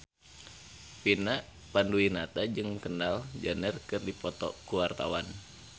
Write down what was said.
Vina Panduwinata jeung Kendall Jenner keur dipoto ku wartawan